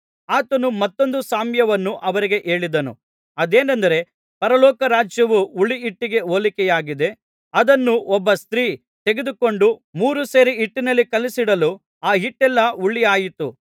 ಆತನು ಮತ್ತೊಂದು ಸಾಮ್ಯವನ್ನು ಅವರಿಗೆ ಹೇಳಿದನು ಅದೇನೆಂದರೆ ಪರಲೋಕ ರಾಜ್ಯವು ಹುಳಿಹಿಟ್ಟಿಗೆ ಹೋಲಿಕೆಯಾಗಿದೆ ಅದನ್ನು ಒಬ್ಬ ಸ್ತ್ರೀ ತೆಗೆದುಕೊಂಡು ಮೂರು ಸೇರು ಹಿಟ್ಟಿನಲ್ಲಿ ಕಲಸಿಡಲು ಆ ಹಿಟ್ಟೆಲ್ಲಾ ಹುಳಿಯಾಯಿತು